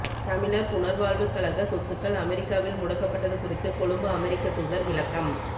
தமிழர் புனர்வாழ்வுக் கழக சொத்துக்கள் அமெரிக்காவில் முடக்கப்பட்டது குறித்து கொழும்பு அமெரிக்கத் தூதர் விளக்கம்